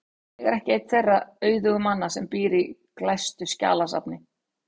Ég er ekki einn þeirra auðugu manna sem býr í glæstu skjalasafni.